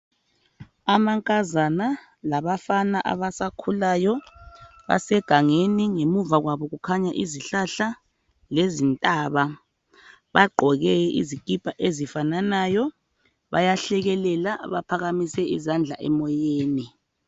Amankazana labafana abasakhulayo basegangeni ngemuva kwabo kukhanya izihlahla lezintaba bagqoke izikipa ezifananayo bayahlekelela baphakamise izandla emoyeni.